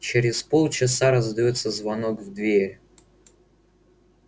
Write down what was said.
через полчаса раздаётся звонок в дверь